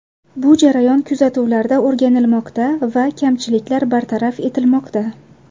Bu jarayon kuzatuvlarda o‘rganilmoqda va kamchiliklar bartaraf etilmoqda.